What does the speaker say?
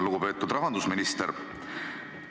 Lugupeetud rahandusminister!